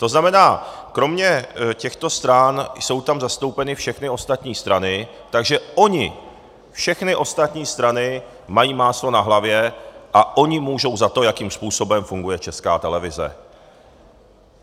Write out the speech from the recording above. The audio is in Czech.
To znamená, kromě těchto stran jsou tam zastoupeny všechny ostatní strany, takže ony všechny ostatní strany mají máslo na hlavě a ony můžou za to, jakým způsobem funguje Česká televize.